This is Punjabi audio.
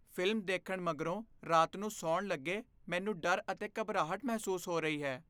ਫ਼ਿਲਮ ਦੇਖਣ ਮਗਰੋਂ ਰਾਤ ਨੂੰ ਸੌਣ ਲੱਗੇ ਮੈਨੂੰ ਡਰ ਅਤੇ ਘਬਰਾਹਟ ਮਹਿਸੂਸ ਹੋ ਰਹੀ ਹੈ ।